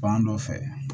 Fan dɔ fɛ